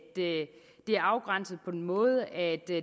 det er afgrænset på den måde at der